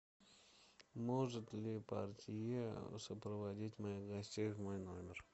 может ли портье сопроводить моих гостей в мой номер